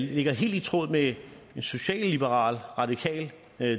det ligger helt i tråd med socialliberal radikal